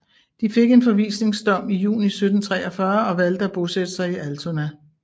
De fik en forvisningsdom i juni 1743 og valgte at bosætte sig i Altona